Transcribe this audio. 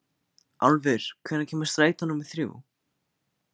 Álfur, hvenær kemur strætó númer þrjú?